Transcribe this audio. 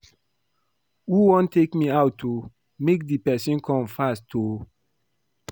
Who wan take me out oo? Make the person come fast oo